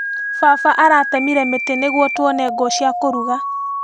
Baba aratemire mĩtĩ nĩguo tuone ngũ cia kũruga.